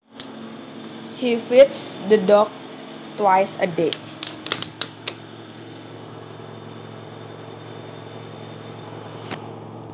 He feeds the dog twice a day